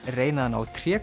reyna að ná